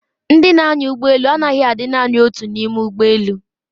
Ndị na-anya ụgbọ elu anaghị adị naani otu n'ime ụgbọ elu.